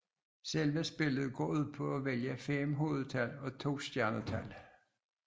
Selve spillet går ud på at vælge fem hovedtal og to stjernetal